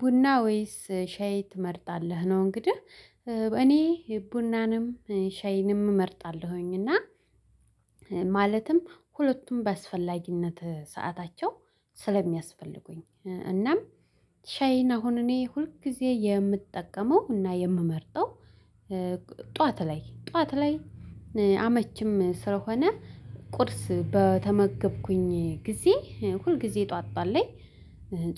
ቡና ወይስ ሻይ ትመርጣለህ? ነው እንግዲህ እኔ ቡናንም ሻይንም እመርጣለሁኝ። እና ማለትም ሁለቱም በአስፈላጊነት ሰዓታቸው ስለሚያስፈልጉኝ። እናም ሻይን አሁን እኔ ሁል ጊዜ የምጠቀመው እና የምመርጠው። ጥዋት ላይ ጥዋት ላይ አመችም ስለሆነ ቁርስ በተመገብኩኝ ጊዜ ሁልጊዜ ጥዋት ጥዋት ላይ።